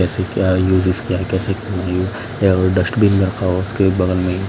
कैसे क्या यूजेस क्या है कैसे डस्टबिन रखा उसके बगल में--